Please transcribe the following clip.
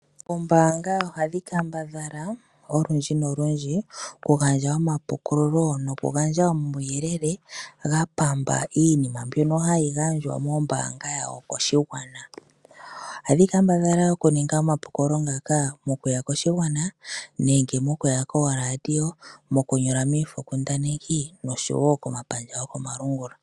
Oombanga ohadhi kendambala olundji nopendji okugandja oma pukululo noku gandja omawuyele ga pamba iinima mbyono hayi gandjwa moombanga yawo koshigwana .ohadhi kendambala oku ninga omapukululo ngaka okuya koshigwana nenge mokuya koo Radio, moku nyola miifokundaneki oshowo komapandja go komalungula.